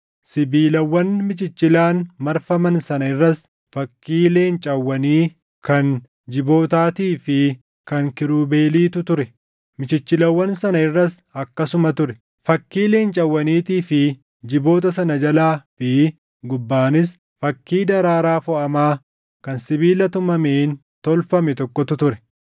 Sibiilawwan michichilaan marfaman sana irras fakkii leencawwanii, kan jibootaatii fi kan kiirubeeliitu ture; michichilawwan sana irras akkasuma ture. Fakkii leencawwaniitii fi jiboota sana jalaa fi gubbaanis fakkii daraaraa foʼamaa kan sibiila tumameen tolfame tokkotu ture.